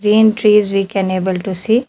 Re entry is we can able to see.